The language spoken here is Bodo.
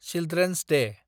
चिल्ड्रेन'स दे